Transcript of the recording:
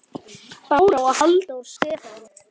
Bára og Halldór Stefán.